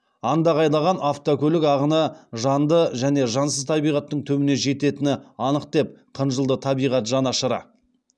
андағайлаған автокөлік ағыны жанды және жансыз табиғаттың түбіне жететіні анық деп қынжылды табиғат жанашыры